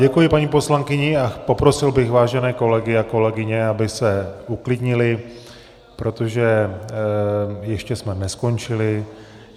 Děkuji paní poslankyni a poprosil bych vážené kolegy a kolegyně, aby se uklidnili, protože ještě jsme neskončili.